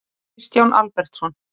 Kristján Albertsson.